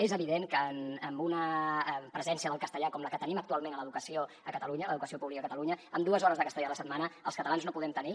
és evident que amb una presència del castellà com la que tenim actualment a l’educació a catalunya a l’educació pública a catalunya amb dues hores de castellà a la setmana els catalans no podem tenir